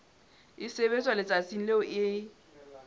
e sebetswa letsatsing leo e